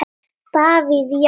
Davíð Já.